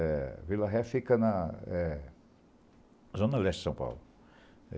A Vila Ré fica na Zona Leste de São Paulo.